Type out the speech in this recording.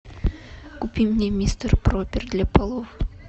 купи мне мистер пропер для полов